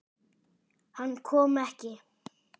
Hann kom ekki.